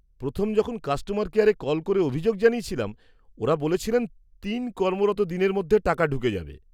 প্রথম যখন কাস্টমার কেয়ারে কল করে অভিযোগ জানিয়েছিলাম, ওঁরা বলেছিলেন তিন কর্মরত দিনের মধ্যে টাকা ঢুকে যাবে।